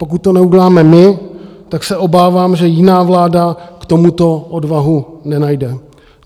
Pokud to neuděláme my, tak se obávám, že jiná vláda k tomuto odvahu nenajde.